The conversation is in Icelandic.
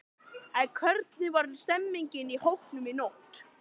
En hvernig var stemningin í hópnum í nótt?